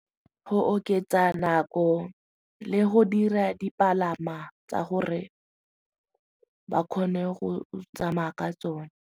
Go oketsa nako le go dira dipalama tsa gore ba kgone go tsamaya ka tsone.